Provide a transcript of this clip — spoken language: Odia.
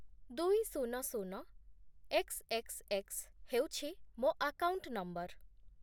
ଦୁଇ, ଶୂନ, ଶୂନ, ଏକ୍ସ୍, ଏକ୍ସ୍, ଏକ୍ସ୍ ହେଉଛି ମୋ ଆକାଉଣ୍ଟ୍ ନମ୍ବର୍